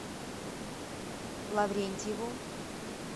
лаврентьеву